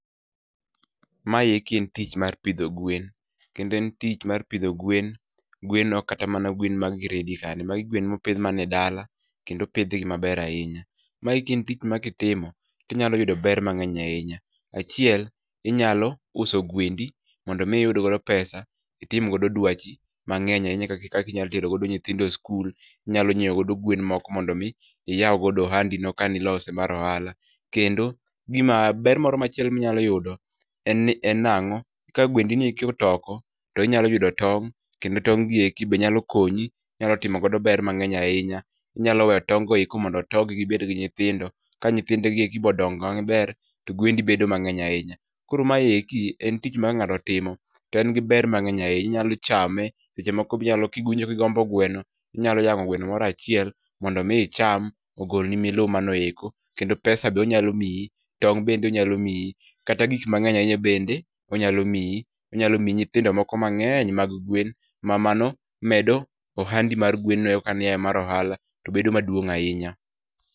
Maeki en tich mae pidho gwen kendo en tich mar pidho gwen ok kata mana gwen mag gredi kande magi gwen mopith mana e dala kendo pith gi maber ahinya, maeki en tich ma kitimo tinyalo yudo ber mang'eny ahinya, achiel inyalo uso gwendi mondo mi iyud godo pesa itim godo dwachi mangeny ahinya kaka inyalo tero godo nyithindo e skul inyalo medo godo gewen moko mondo mi iyaw ohandi kanilose mar ohala kendo gima ber moro machielo minyalo yudo en nang'o ni ka gwendi otoko tinyalo yudo tong' kendo tong' gi eki benyalo konyi, inyalo timogodo ber mang'eny ahinya inyalo weyo tong' go mondo otogi gibed gi nyithindo ka nyithinde gi eki odong'o maber to gwendi bedo mang'eny ahinya koro maeki en tich moro ma ka ngato otimo to en gi ber mang'eny ahinya inyalo chame sechemoko kiwinjo kigombo gweno inyalo yang'o gweno moro achiel mondo mi icham ogolni milumanoeko kendo pesa be onyalo mii tong' bende onyalo miyi kata gik mang'eny ahinya bende onyalo miyi ,onyalo miyi nyithindo miko ma ng'eny mag gwen ma mano medo ohandi mar gwen ka ne en mar ohala bedo maduong' ahinya.